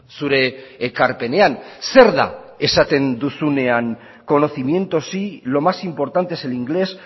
zure ekarpenean zer da esaten duzunean conocimiento sí lo más importante es el inglés